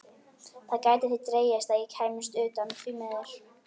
Það gæti því dregist að ég kæmist utan, því miður.